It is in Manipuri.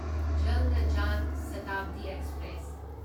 ꯖꯜꯅꯥ ꯖꯥꯟ ꯁꯥꯇꯥꯕꯗꯤ ꯑꯦꯛꯁꯄ꯭ꯔꯦꯁ